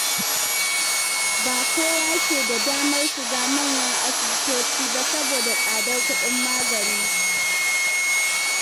Ba kowa ke da damar shiga manyan asibitoci ba saboda tsadar kuɗin magani.